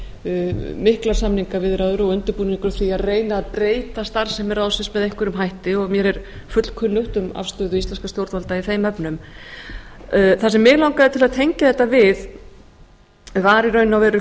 gangi miklar samningaviðræður og undirbúningur að reyna að breyta starfsemi ráðsins með einhverjum hætti og mér er fullkunnugt um afstöðu íslenskra stjórnvalda í þeim efnum það sem mig langaði til að tengja þetta við var í raun og veru